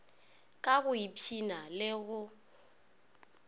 ka go ipshina le go